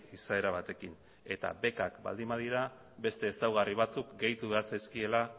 izaera batekin eta bekak baldin badira beste ezaugarri batzuk gehitu egin behar zaizkiela